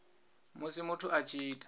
musi muthu a tshi ita